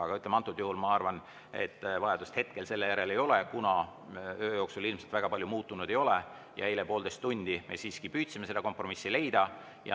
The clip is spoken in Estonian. Aga antud juhul ma arvan, et hetkel selle järele vajadust ei ole, kuna öö jooksul ilmselt väga palju muutunud ei ole ja eile poolteist tundi me siiski püüdsime seda kompromissi leida.